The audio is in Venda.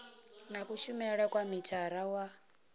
na kushumele kwa mithara wa